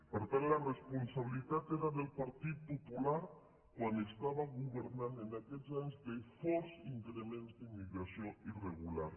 per tant la responsabilitat era del partit popular quan governava en aquells anys de fort increment d’immi·gració irregular